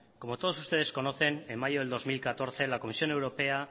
como todos ustedes conocen en mayo de dos mil catorce la comisión europea